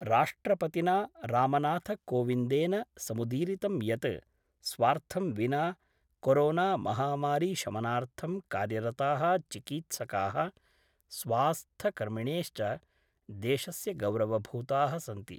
राष्ट्रपतिना रामनाथकोविंदेन समुदीरितं यत् स्वार्थं विना कोरोनामहामारीशमनार्थं कार्यरता: चिकीत्सका:, स्वास्थकर्मिणेश्च देशस्य गौरवभूता: सन्ति।